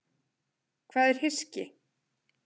Hvað er hyski?